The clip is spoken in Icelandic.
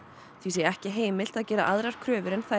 því sé ekki heimilt að gera aðrar kröfur en þær